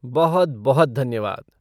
बहुत बहुत धन्यवाद।